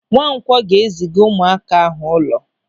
Nwankwọ ga-eziga ụmụaka ahụ ụlọ.